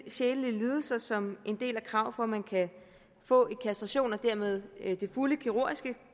sjælelige lidelser som en del af kravet for at man kan få en kastration og dermed det fulde kirurgiske